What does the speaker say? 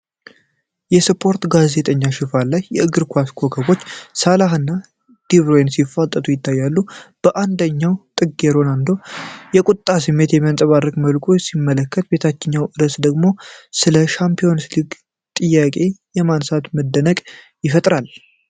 የስፖርት ጋዜጣው ሽፋን ላይ የእግር ኳስ ኮከቦች ሳላህና ደብሮይኔ ሲፋጠጡ ይታያሉ። በአንደኛው ጥግ ሮናልዶ የቁጣ ስሜት በሚያንጸባርቅ መልኩ ሲመለከት፣ የታችኛው ርዕስ ደግሞ ስለ ሻምፒዮንስ ሊግ ጥያቄ በማንሳት መደነቅን ይፈጥራል።